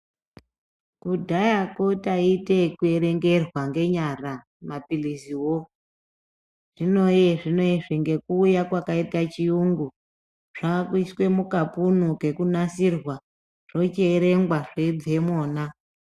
Kudhaya ko taite yekuerengerwa ngenyara mapiriziwo zvinoyezvinozvi nekuuya kwakaita kwakaita chiyungu zvakuiswa mukapunu kekunasirwa zvochierengwa zvechibva imona .